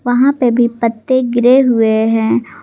वहां पे भी पत्ते गिरे हुए हैं।